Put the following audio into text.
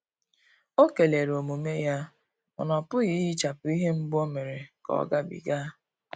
Ọ kelere omume ya, mana ọpughi ihechapu ihe mgbu o mere ka ọ ga bi ga.